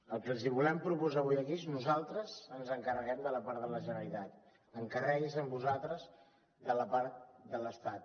el que els volem proposar avui aquí és nosaltres ens encarreguem de la part de la generalitat encarregueu vos en vosaltres de la part de l’estat